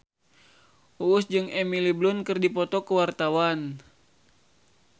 Uus jeung Emily Blunt keur dipoto ku wartawan